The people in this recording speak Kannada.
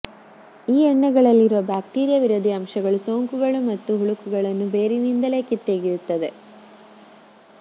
ಈ ಎಣ್ಣೆಗಳಲ್ಲಿರುವ ಬ್ಯಾಕ್ಟೀರಿಯಾ ವಿರೋಧಿ ಅಂಶಗಳು ಸೋಂಕುಗಳು ಮತ್ತು ಹುಳುಕನ್ನು ಬೇರಿನಿಂದಲೇ ಕಿತ್ತೊಗೆಯುತ್ತದೆ